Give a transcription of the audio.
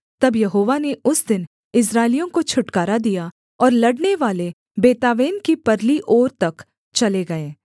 तब यहोवा ने उस दिन इस्राएलियों को छुटकारा दिया और लड़नेवाले बेतावेन की परली ओर तक चले गए